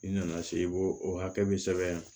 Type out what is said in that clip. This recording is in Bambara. I nana se i b'o o hakɛ be sɛbɛn yan